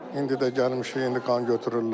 İndi də gəlmişik, indi qan götürürlər.